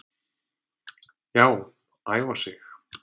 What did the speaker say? Já, æfa sig.